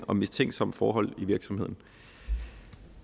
om mistænksomme forhold i virksomheden